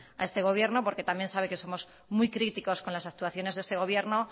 a este gobierno porque también sabe que somos muy críticos con las actuaciones de ese gobierno